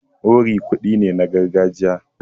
Wuri kuɗi ne na gargajiya.